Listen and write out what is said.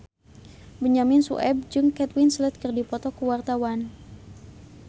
Benyamin Sueb jeung Kate Winslet keur dipoto ku wartawan